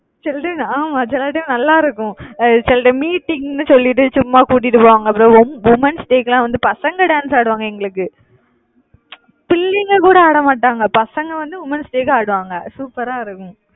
சில time ஆமா சில time நல்லா இருக்கும். அஹ் சில time meeting ன்னு சொல்லிட்டு சும்மா கூட்டிட்டு போவாங்க. அப்புறம் wo~ womens day க்கு எல்லாம் வந்து பசங்க dance ஆடுவாங்க எங்களுக்கு பிள்ளைங்க கூட ஆட மாட்டாங்க. பசங்க வந்து womens day க்கு ஆடுவாங்க. super ஆ இருக்கும்